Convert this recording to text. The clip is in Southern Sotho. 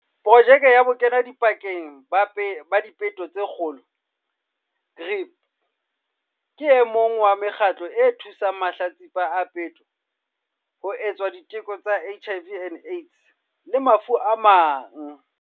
Projeke ya Bokenadipakeng ba Dipeto tse Kgolo, GRIP, ke o mong wa mekgatlo e thusang mahlatsipa a peto ho etswa diteko tsa HIV and Aids le mafu a mang.